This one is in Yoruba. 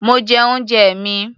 Mo jẹ oúnjẹ mi.